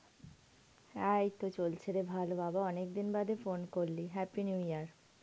হ্যাঁ এই তো চলছে রে ভালো বাবা অনেক দিন পর phone করলি. happy new year.